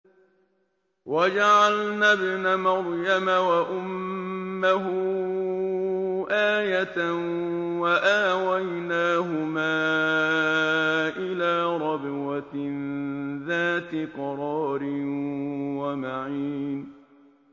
وَجَعَلْنَا ابْنَ مَرْيَمَ وَأُمَّهُ آيَةً وَآوَيْنَاهُمَا إِلَىٰ رَبْوَةٍ ذَاتِ قَرَارٍ وَمَعِينٍ